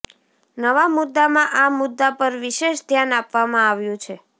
નવા મુદ્દામાં આ મુદ્દા પર વિશેષ ધ્યાન આપવામાં આવ્યું છે